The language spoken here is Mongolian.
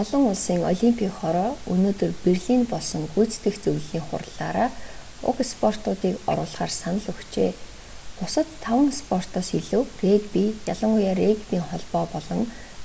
олон улсын олимпийн хороо өнөөдөр берлинд болсон гүйцэтгэх зөвлөлийн хурлаараа уг спортуудыг оруулахаар санал өгчээ бусад таван спортоос илүү регби ялангуяа регбийн холбоо болон